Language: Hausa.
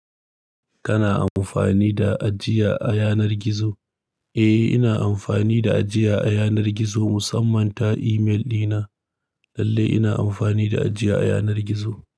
Kana amfani da ajiya a yanar gizo? Eh, ina amfani da ajiya a yanar gizo musamman ta email dina. Lalle ina amfani da ajiya a yanar gizo.